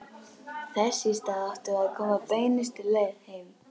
Þess í stað áttum við að koma beinustu leið heim.